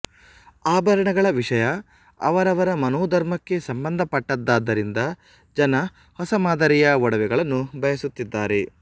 ಆಭರಣಗಳ ವಿಷಯ ಅವರವರ ಮನೋಧರ್ಮಕ್ಕೆ ಸಂಬಂಧ ಪಟ್ಟದ್ದಾದ್ದರಿಂದ ಜನ ಹೊಸ ಮಾದರಿಯ ಒಡವೆಗಳನ್ನು ಬಯಸುತ್ತಿದ್ದಾರೆ